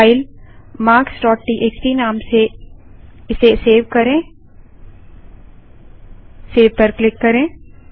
फाइलmarkstxt नाम से इसे सेव करेंसेव पर क्लिक करें